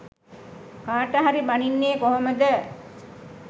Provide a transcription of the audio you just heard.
කාට හරි බනින්නේ කොහොමද.